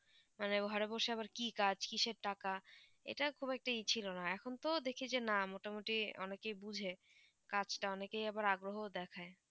মানে ঘরে বসে কি কাজেম কিসের টাকা এইটা খোবাইটি ছিল না এখন তো দেখি যে না মোটা মতি অনেক তা বুঝে কাজ তা অনেক ই আগ্রহ দেখায়ে